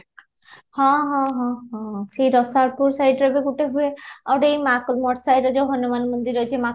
ହଁ ହଁ ହଁ ହଁ ରସାଳପୁର side ରେ ବି ଗୋଟେ ହୁଏ ଆଉ ଗୋଟେ side ରେ ଯଉ ହନୁମାନ ମନ୍ଦିର ଅଛି